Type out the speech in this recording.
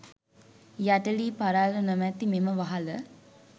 යට ලී පරාළ නොමැති මෙම වහල